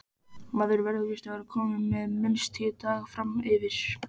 Maður verður víst að vera kominn minnst tíu daga framyfir.